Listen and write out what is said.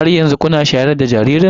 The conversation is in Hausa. Har yanzu kuna shayar da jaririn nono?